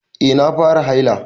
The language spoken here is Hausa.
Eh na fara haila.